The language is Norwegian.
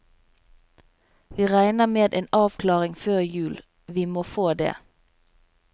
Vi regner med en avklaring før jul, vi må få det.